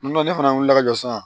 N'o ne fana wuli la ka jɔ sisan